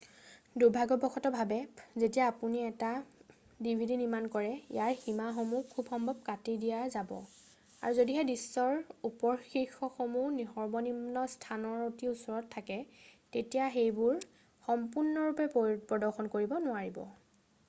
"দুৰ্ভাগ্যবশত ভাৱে যেতিয়া আপুনি এখন ডিভিডি নিৰ্মাণ কৰে, ইয়াৰ সীমাসমূহ খুবসম্ভৱ কাটি দিয়া যাব আৰু যদিহে দৃশ্যৰ উপশীৰ্ষকসমূহ সৰ্বনিম্ন স্থানৰ অতি ওচৰত থাকে তেতিয়া সেইবোৰ সম্পূৰ্ণৰূপে প্ৰদৰ্শন কৰিব নোৱাৰিব।""